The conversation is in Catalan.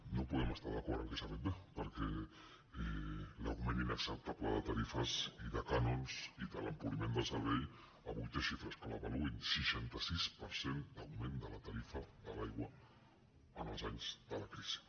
no podem estar d’acord que s’ha fet bé perquè l’augment inacceptable de tarifes i de cànons i de l’empobriment del servei avui té xifres que l’avaluïn seixanta sis per cent d’augment de la tarifa de l’aigua en els anys de la crisi